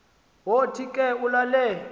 wothi ke ulale